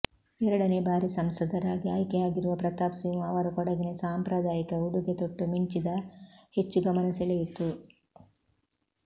ಎರಡನೇ ಬಾರಿ ಸಂಸದರಾಗಿ ಆಯ್ಕೆಯಾಗಿರುವ ಪ್ರತಾಪ್ ಸಿಂಹ ಅವರು ಕೊಡಗಿನ ಸಾಂಪ್ರದಾಯಿಕ ಉಡುಗೆ ತೊಟ್ಟು ಮಿಂಚಿದ ಹೆಚ್ಚು ಗಮನ ಸೆಳೆಯಿತ್ತು